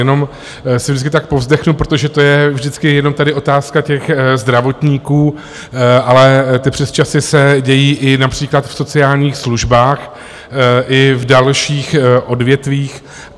Jenom si vždycky tak povzdechnu, protože to je vždycky jenom tady otázka těch zdravotníků, ale ty přesčasy se dějí i například v sociálních službách i v dalších odvětvích.